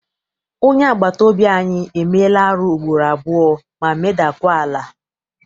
Onye agbata obi anyị emeela arụ ugboro abụọ ma meda kwa ala.